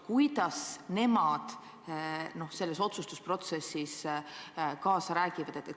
Kuidas nemad selles otsustusprotsessis kaasa räägivad?